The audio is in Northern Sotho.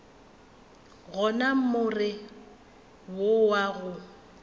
gona more wo wa go